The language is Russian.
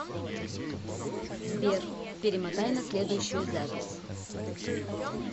сбер перемотай на следующую запись